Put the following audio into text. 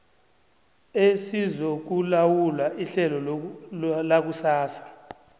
esizokulawula ihlelo lakusasa